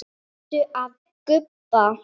Varstu að gubba?